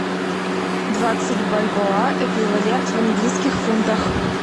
двадцать бальбоа эквивалент в английских фунтах